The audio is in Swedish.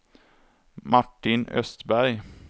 Martin Östberg